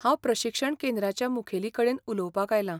हांव प्रशिक्षण केंद्राच्या मुखेलीकडेन उलोवपाक आयलां.